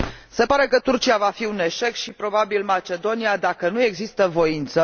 Se pare că Turcia va fi un eșec, și probabil și Macedonia, dacă nu există voință.